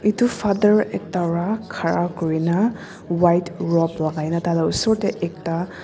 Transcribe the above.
etu father ekta ra khara kurina white robe lagaina taila osor te ekta.